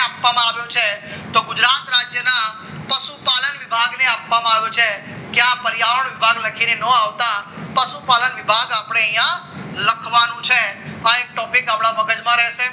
આપવામાં આવ્યો છે તો ગુજરાત રાજ્યના પશુપાલન વિભાગની આપવામાં આવ્યો છે કે આ પર્યાવરણ વિભાગ લખીને ના આવતા પશુપાલન વિભાગ આપણે અહીંયા લખવાનું છે આ એક topic આપણા મગજમાં રહેશે